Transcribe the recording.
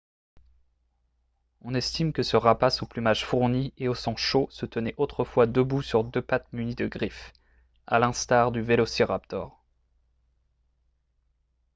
on estime que ce rapace au plumage fourni et au sang chaud se tenait autrefois debout sur deux pattes munies de griffes à l'instar du vélociraptor